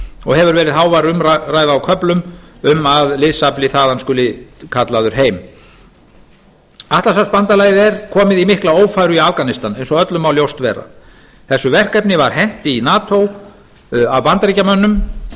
og hefur verið hávær umræða á köflum um að liðsafla þaðan skuli kallaður heim atlantshafsbandalagið er komið í mikla ófæru í afganistan eins og öllum má ljóst vera þessu verkefni var hent í nato af bandaríkjamönnum